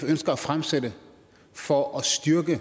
ønsker at fremsætte for at styrke